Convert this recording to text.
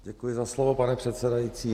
Děkuji za slovo, pane předsedající.